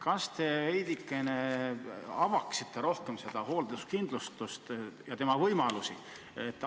Kas te avaksite veidi rohkem seda hoolduskindlustust ja selle võimalusi?